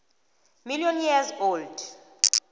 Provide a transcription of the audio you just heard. million years old